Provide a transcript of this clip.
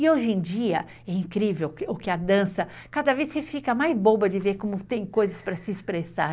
E hoje em dia é incrível o que a dança, cada vez se fica mais boba de ver como tem coisas para se expressar.